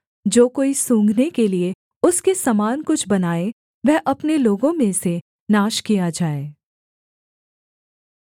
जो कोई सूँघने के लिये उसके समान कुछ बनाए वह अपने लोगों में से नाश किया जाए